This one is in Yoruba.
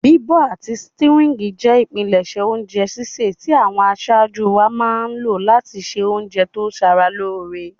Bíbọ̀ àti stewing je ìpinlẹ̀sẹ̀ ounje sísẹ̀ ti àwon asájú wáa má n lo láti se ounje to sara lóre